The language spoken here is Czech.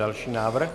Další návrh.